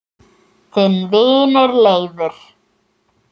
Þinn vinur Leifur.